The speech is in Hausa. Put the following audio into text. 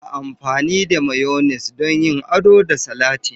Ana amfani da Mayones don yin ado da salatin.